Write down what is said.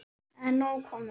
Það er nóg komið.